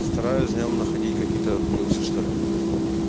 стараюсь днём находить какие-то плюсы что ли